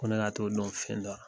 Ko ne ka to'o don fɛn dɔ la.